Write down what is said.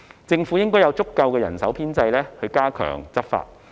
政府應該有足夠的人手編制加強執法。